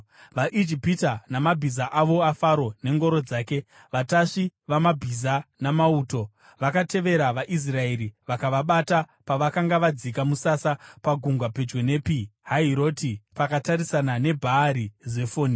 VaIjipita, mabhiza ose aFaro nengoro dzake, vatasvi vamabhiza namauto, vakatevera vaIsraeri vakavabata pavakanga vadzika musasa pagungwa pedyo nePi Hahiroti, pakatarisana neBhaari Zefoni.